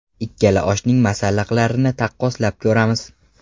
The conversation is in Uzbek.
Ikkala oshning masalliqlarini taqqoslab ko‘ramiz.